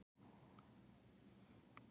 Sömuleiðis hefur öskufall minnkað